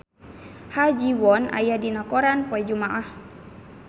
Ha Ji Won aya dina koran poe Jumaah